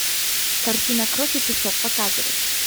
картина кровь и песок показывай